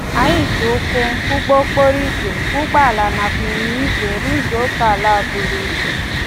Anyị ji ụkwụ, ụgbọ okporo igwe, ụgbọala nakwa ịnyịnya igwe rụzuo okeala a buru ibu.